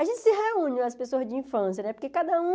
A gente se reúne, as pessoas de infância né, porque cada um...